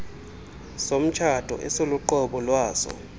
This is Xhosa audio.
somtshato esiluqobo lwaso